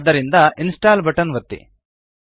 ಆದ್ದರಿಂದ install button ಒತ್ತಿ